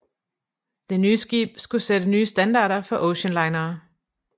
Det nye skib skulle sætte nye standarder for oceanlinere